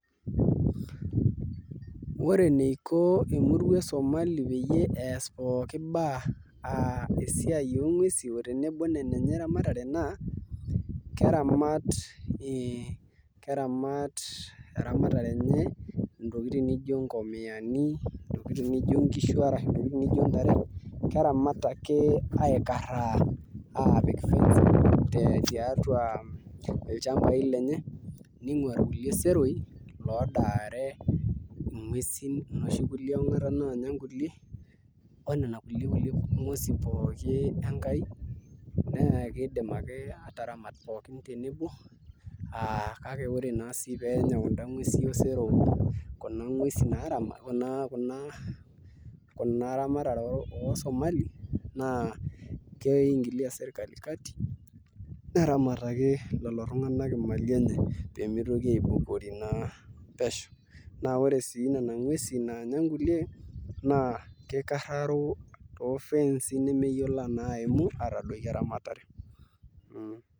Ore eniko emurua e Somali pee ees pookin baye aa esiai onguesi naa tenebo onena enye eramatare naa keramat eramatare enye ntokitin nijio nkomiani ntokitin nijio nkishu arashu ntare keramat ake aikara aapik efence tiatua ilchambai lenye ning'uaa irkulie seroi odaare nguesi inoshi eangata naanya nkulie onena kulie nguesi pookin Enkai naa kiidim ake aataramat pookin tenebo aa kake ore naa sii pee enya kunda nguesi osero kuna ramatare oosomali naa kiingilia sirkali kati neramataki lelo tung'anak imali enye pee mitoki aibukori naa pesho naa ore sii Nena nguesi naanya nkulie naa kikarraro toofenci nemeyiolo aimu aatadoiki eramatare.